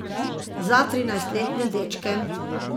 Za trinajstletne dečke.